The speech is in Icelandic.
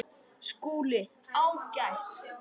SKÚLI: Ágætt!